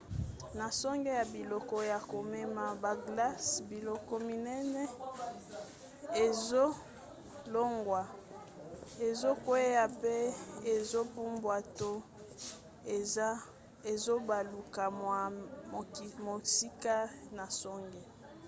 na songe ya biloko ya komema baglace biloko minene ezolongwa ezokwea pe ezopumbwa to ezobaluka mwa mosika na songe